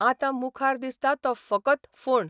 आतां मुखार दिसता तो फकत फोंड.